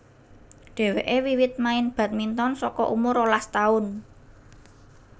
Dhèwèké wiwit main badminton saka umur rolas taun